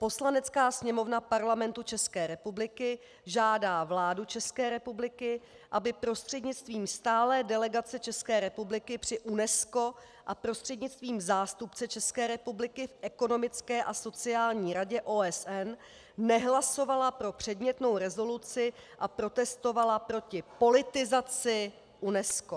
Poslanecká sněmovna Parlamentu České republiky žádá vládu České republiky, aby prostřednictvím stálé delegace České republiky při UNESCO a prostřednictvím zástupce České republiky v Ekonomické a sociální radě OSN nehlasovala pro předmětnou rezoluci a protestovala proti politizaci UNESCO."